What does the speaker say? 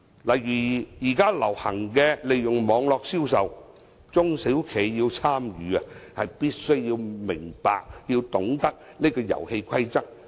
例如現在流行利用網絡銷售，中小企要參與，便必須明白，要懂得這個遊戲規則。